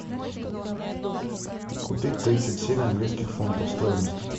купить тридцать семь английских фунтов стоимость